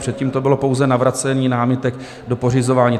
Předtím to bylo pouze navracení námitek do pořizování.